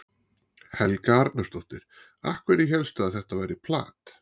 Helga Arnardóttir: Af hverju hélstu að þetta væri plat?